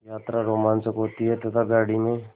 यात्रा रोमांचक होती है तथा गाड़ी में